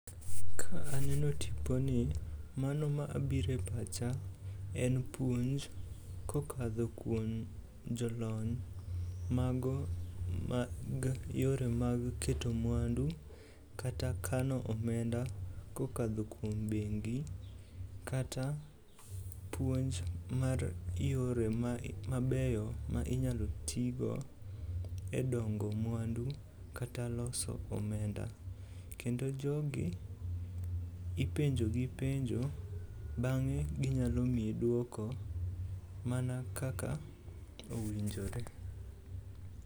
Ka aneno tiponi mano ma biro e pacha en puonj kokadho kuom jolony mago mag yore mag keto mwandu kata kano omenda kokadho kuom bengi kata puonj mar yore mabeyo ma inyalo tigo e dongo mwandu kata loso omenda. Kendo jogi ipenjo gi penjo bang'e ginyalo miyi duoko mana kaka owinjore.